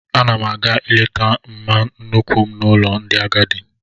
M na-aga ileta mma nnuku m n'ụlọ ndị agadi